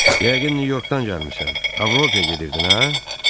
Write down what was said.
Yəqin Nyu-Yorkdan gəlmisən, Avropaya gedirdin, hə?"